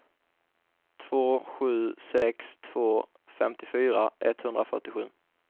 två sju sex två femtiofyra etthundrafyrtiosju